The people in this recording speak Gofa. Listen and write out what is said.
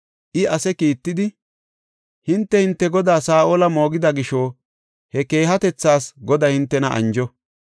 I ase kiittidi, “Hinte hinte godaa Saa7ola moogida gisho he keehatethas Goday hintena anjo.